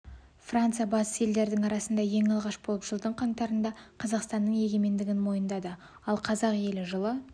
франция батыс елдердің арасында ең алғаш болып жылдың қаңтарында қазақстанның егемендігін мойындады ал қазақ елі жылы